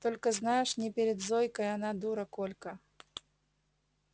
только знаешь не перед зойкой она дура колька